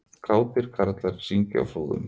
Kátir karlar syngja á Flúðum